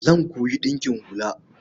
Zan koyi ɗinkin hula.